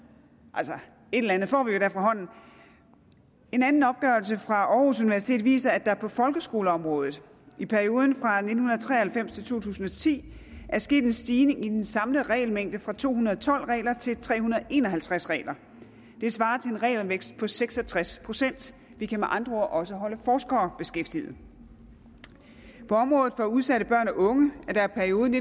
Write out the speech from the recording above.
altså et eller andet får vi da fra hånden en anden opgørelse fra aarhus universitet viser at der på folkeskoleområdet i perioden fra nitten tre og halvfems til to tusind og ti er sket en stigning i den samlede regelmængde fra to hundrede og tolv regler til tre hundrede og en og halvtreds regler det svarer til en regelvækst på seks og tres procent det kan med andre ord også holde forskere beskæftiget på området for udsatte børn og unge er der i perioden